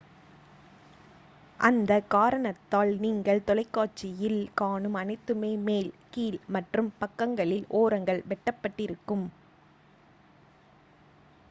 அந்த காரணத்தால் நீங்கள் தொலைக்காட்சியில் காணும் அனைத்துமே மேல் கீழ் மற்றும் பக்கங்களில் ஓரங்கள் வெட்டப்பட்டிருக்கும்